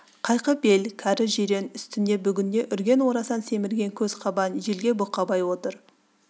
қайкы бел кәрі жирен үстінде бүгінде үрген орасан семірген көз қабан желке бұқабай отыр